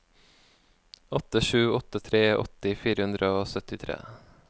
åtte sju åtte tre åtti fire hundre og syttitre